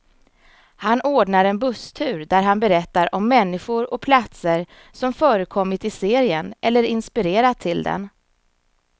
Han ordnar en busstur där han berättar om människor och platser som förekommit i serien, eller inspirerat till den.